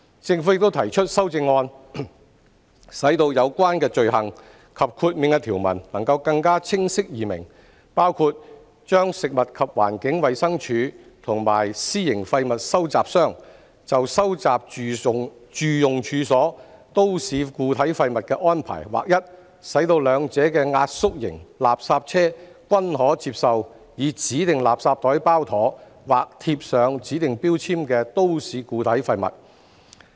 政府亦提出修正案，使有關罪行及豁免的條文更清晰易明，包括把食物環境衞生署和私營廢物收集商就收集住用處所都市固體廢物的安排劃一，使兩者的壓縮型垃圾車均可接收以指定垃圾袋包妥或貼上指定標籤的都市固體廢物。